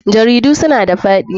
Jaridu suna da faɗi.